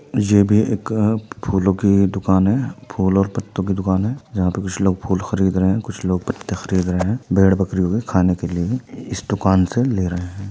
ये भी एक फूलों की दुकान है फूल और पत्तों की दुकान है जहाँ पर कुछ लोग फूल खरीद रहे हैं कुछ लोग पत्ते खरीद रहे हैं भेड़ बकरियों के खाने के लिए इस दुकान से ले रहे हैं।